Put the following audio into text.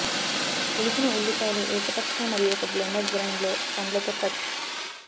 ఒలిచిన ఉల్లిపాయలు ఏకపక్ష మరియు ఒక బ్లెండర్ గ్రైండ్ లో పండ్లతో కట్